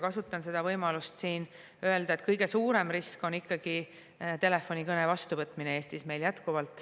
Kasutan siin võimalust öelda, et kõige suurem risk on meil Eestis ikkagi telefonikõne vastuvõtmine.